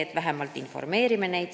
Me vähemalt informeerime neid.